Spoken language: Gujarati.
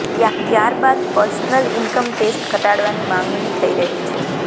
ત્યારબાદ પર્સનલ ઈનકમ ટેક્સ ઘટાડવાની માંગણી થઈ રહી છે